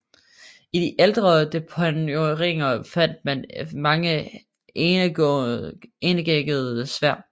I de ældre deponeringer fandt man mange enæggede sværd